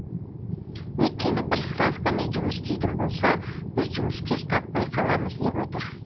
өйткені бір ставкамен жұмыс істейтін болса біз жұмыскер таппай қаламыз деп отыр